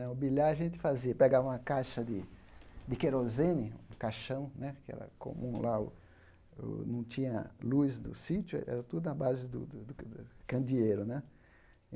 Né o bilhar a gente fazia pegava uma caixa de de querosene, um caixão né, que era comum lá o, não tinha luz do sítio, era tudo na base do do do candeeiro né.